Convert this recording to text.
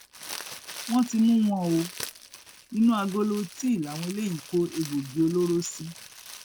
wọn ti mú wọn o inú agolo tíì làwọn eléyìí kó egbòogi olóró sí